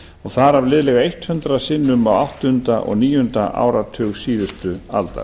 og þar af liðlega hundrað sinnum á áttunda og níunda áratug síðustu aldar